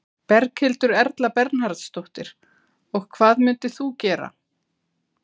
Berghildur Erla Bernharðsdóttir: Og hvað myndir þú gera?